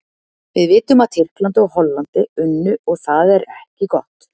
Við vitum að Tyrkland og Hollandi unnu og það er ekki gott.